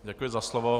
Děkuji za slovo.